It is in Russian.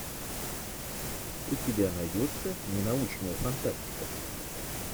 у тебя найдется ненаучная фантастика